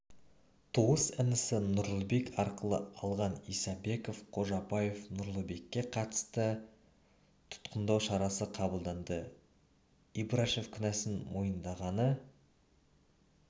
туыс інісі нұрлыбек арқылы алған исабеков қожабаев нұрлыбекке қатысты тұтқындау шарасы қабылданды ибрашев кінәсін мойындағаны